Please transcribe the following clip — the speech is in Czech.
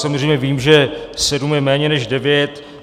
Samozřejmě vím, že sedm je méně než devět.